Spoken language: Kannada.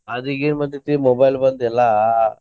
ಅದ ಈಗೇನ ಬಂದೇತಿ mobile ಬಂದ ಎಲ್ಲಾ.